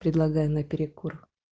предлагаю на перекур